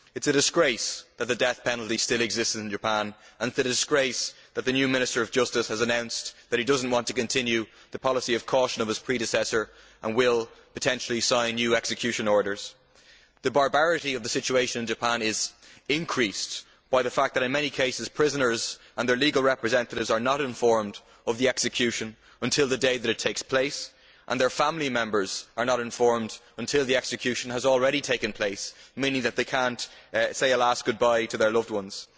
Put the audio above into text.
It is a disgrace that the death penalty still exists in Japan, and it is a disgrace that the new Minister of Justice has announced that he does not want to continue the policy of caution of his predecessor and will, potentially, sign new execution orders. The barbarity of the situation in Japan is increased by the fact that, in many cases, prisoners and their legal representatives are not informed of the execution until the day that it takes place, and their family members are not informed until the execution has already taken place, meaning that they cannot say a last goodbye to their loved ones.